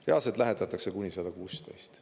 Reaalselt lähetatakse kuni 116.